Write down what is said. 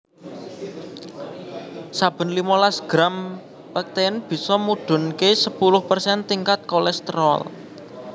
Saben limolas gram pektin bisa mudhunké sepuluh persen tingkat kolesterol